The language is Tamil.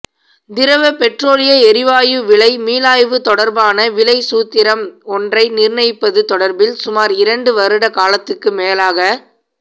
திரவ பெற்றோலிய எரிவாயு விலை மீளாய்வு தொடர்பான விலைச்சூத்திரம் ஒன்றை நிர்ணயிப்பது தொடர்பில் சுமார் இரண்டு வருட காலத்துக்கு மேலாக